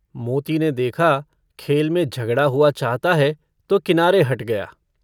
मोती ने देखा - खेल में झगड़ा हुआ चाहता है तो किनारे हट गया।